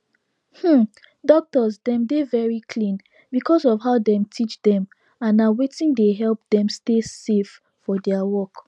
um doctors dem dey very clean because of how dem teach dem and na wetin dey help dem stay safe for their work